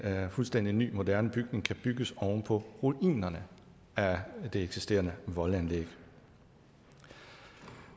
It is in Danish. fuldstændig ny moderne bygning kan bygges oven på ruinerne af det eksisterende voldanlæg